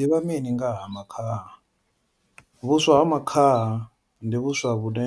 Ni ḓivha mini nga ha makhaha, vhuswa ha makhaha ndi vhuswa vhune